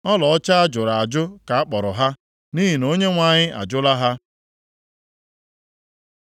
Ọlaọcha a jụrụ ajụ ka akpọrọ ha, nʼihi na Onyenwe anyị ajụla ha.”